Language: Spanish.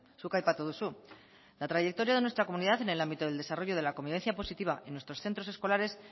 zuk aipatu duzu la trayectoria de nuestra comunidad en el ámbito del desarrollo de la convivencia positiva en nuestros centros escolares